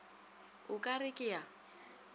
o ka re ke a